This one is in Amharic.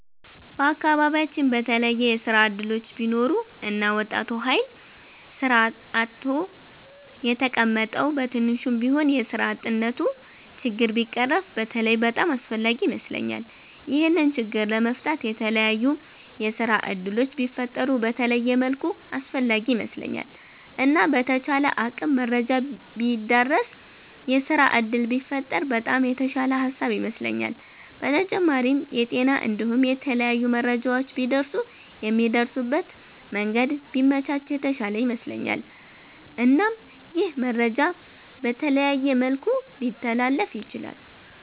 በአከባቢያቺን በተለየ የስራ እድሎች ቢኖሩ እና ወጣቱ ሀይል ስራ አጥቶ የተቀመጠዉ በትንሹም ቢሆን የስራ አጥነቱ ችግር ቢቀረፍ በተለይ በጣም አስፍላጊ ይመስለኛል። ይሄንን ችግር ለመፍታት የተላያዩ የስራ እድሎች ቢፈጠሩ በተለየ መልኩ አስፈላጊ ይመስለኛል። እና በተቻለ አቅም መረጃ ቢዳረስ የስራ እድል ቢፈጠር በጣም የተሻለ ሃሳብ ይመስለኛል። በተጫማሪም የጤና እንዲሁም የተለያዩ መረጃዎች ቢደርሱ የሚደርሱበት መንገድ ቢመቻች የተሻለ ይመስለኛል። እናም ይህ መረጃ በተለያየ መልኩ ሊተላለፍ ይችላል።